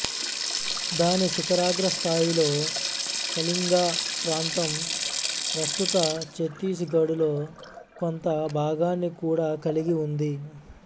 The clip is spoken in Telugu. దాని శిఖరాగ్రస్థాయిలో కళింగ ప్రాంతం ప్రస్తుత ఛత్తీసుగఢులో కొంత భాగాన్ని కూడా కలిగి ఉంది